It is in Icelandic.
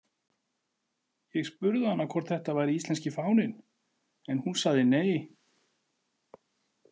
Ég spurði hana hvort þetta væri íslenski fáninn en hún sagði nei.